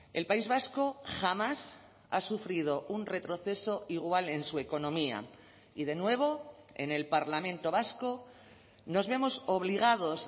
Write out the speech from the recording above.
el país vasco jamás ha sufrido un retroceso igual en su economía y de nuevo en el parlamento vasco nos vemos obligados